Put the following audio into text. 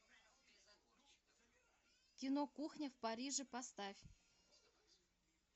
кино кухня в париже поставь